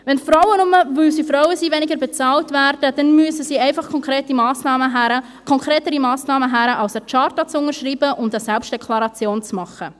Wenn Frauen, nur, weil sie Frauen sind, weniger bezahlt werden, dann müssen einfach konkretere Massnahmen her, konkretere Massnahmen, als eine Charta zu unterschreiben und eine Selbstdeklaration zu machen.